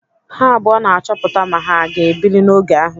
Ha abụọ na-achọpụta ma ha aga ebili n'oge ahụ.